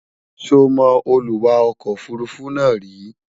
sọ mọ Olúwa ọkọ òfurufú náà ríi?